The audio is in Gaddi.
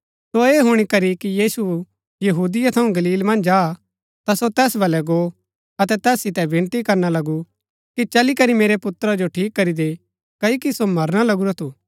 सो ऐह हुणी करी कि यीशु यहूदिया थऊँ गलील मन्ज आ ता सो तैस बलै गो अतै तैस सितै विनती करना लगू कि चली करी मेरै पुत्रा जो ठीक करी दे क्ओकि सो मरना लगुरा थू